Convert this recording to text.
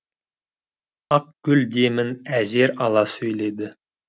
ақгүл демін әзер ала сөйледі